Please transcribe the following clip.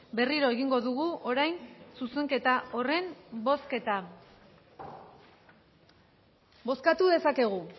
berriro egingo dugu orain zuzenketa horren bozketa bozkatu dezakegu